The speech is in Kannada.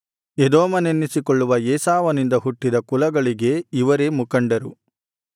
ಎದೋಮನೆನ್ನಿಸಿಕೊಳ್ಳುವ ಏಸಾವನಿಂದ ಹುಟ್ಟಿದ ಕುಲಗಳಿಗೆ ಇವರೇ ಮುಖಂಡರು